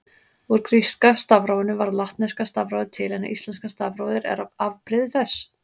Úr gríska stafrófinu varð latneska stafrófið til en íslenska stafrófið er afbrigði þess.